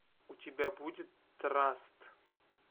у тебя будет траст